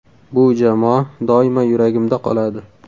Bu jamoa doimo yuragimda qoladi.